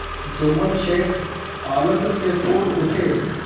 जुम्मन शेख आनंद से फूल उठे